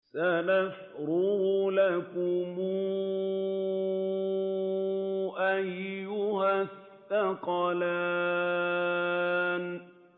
سَنَفْرُغُ لَكُمْ أَيُّهَ الثَّقَلَانِ